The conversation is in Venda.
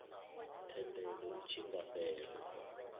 thendelo i tshi nga fhela